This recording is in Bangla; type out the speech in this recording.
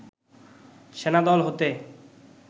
সেনা দল হতে